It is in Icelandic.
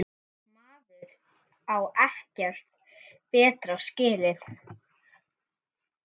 Maður á ekkert betra skilið.